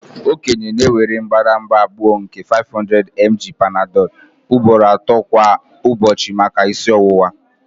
Okenye na-ewere mbadamba abụọ nke 500mg Panadol ugboro ato kwa ụbọchị maka isi ọwụwa